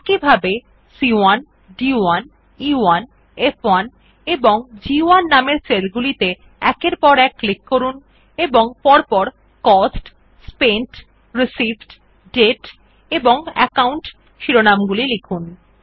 একইভাবে C one D one E one F one এবং G one নামের সেল গুলিতে একের পর এক ক্লিক করুন এবং পরপর কস্ট স্পেন্ট রিসিভড দাতে এবং একাউন্ট শিরোনাম গুলি লিখুন